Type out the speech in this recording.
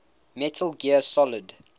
metal gear solid